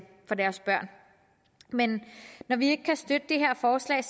men når vi ikke kan støtte det her forslag